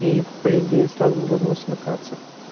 и по идее сразу должно смыкаться